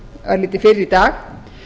örlítið fyrr í dag